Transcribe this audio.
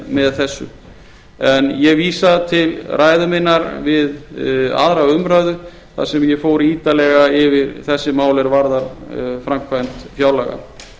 með þessu ég vísa til ræðu minnar við aðra umræðu þar sem ég fór ítarlega yfir þessi mál er varðar framkvæmd fjárlaga